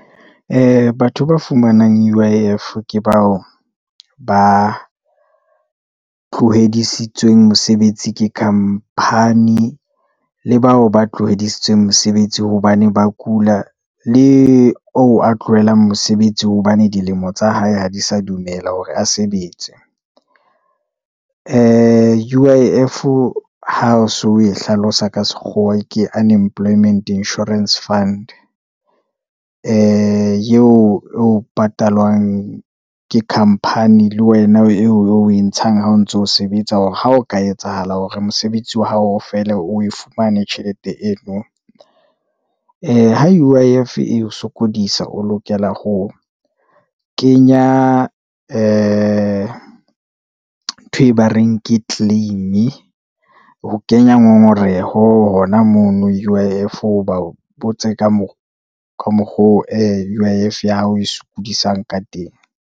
Batho ba fumanang U_I_F ke bao ba tlohedisitsweng mosebetsi ke khampani le bao ba tlo hodisitsweng mosebetsi hobane ba kula le oo, a tlohelang mosebetsi hobane dilemo tsa hae ha di sa dumela hore a sebetse. U_I_F ha o so o e hlalosa ka sekgowa ke Unemployment Insurance Fund, yeo e patalwang ke khamphani le wena eo o e ntshang ha o ntso sebetsa hore ha o ka etsahala hore mosebetsi wa hao fele o e fumane tjhelete eno. Ha U_I_F e sokodisa o lokela ho ho kenya ntho e ba reng ke claim-e, ho kenya ngongoreho hona mono, U_ I _F o ba botse ka moo ka mokgo U_I_F ya hao e sokodisang ka teng.